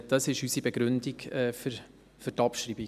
Das ist unsere Begründung für die Abschreibung.